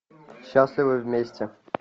счастливы вместе